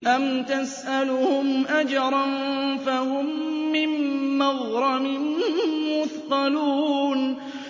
أَمْ تَسْأَلُهُمْ أَجْرًا فَهُم مِّن مَّغْرَمٍ مُّثْقَلُونَ